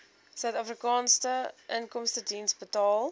suidafrikaanse inkomstediens betaal